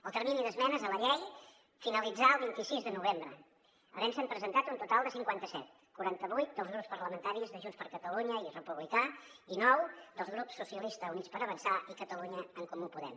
el termini d’esmenes a la llei finalitzà el vint sis de novembre havent se’n presentat un total de cinquanta set quaranta vuit dels grups parlamentaris de junts per catalunya i republicà i nou dels grups socialistes i units per avançar i catalunya en comú podem